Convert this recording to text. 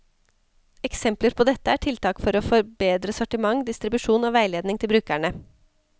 Eksempler på dette er tiltak for å forbedre sortiment, distribusjon og veiledning til brukerne.